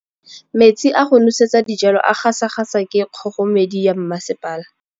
Metsi a go nosetsa dijalo a gasa gasa ke kgogomedi ya masepala.